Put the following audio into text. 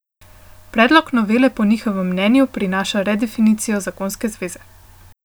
Predlog novele po njihovem mnenju prinaša redefinicijo zakonske zveze.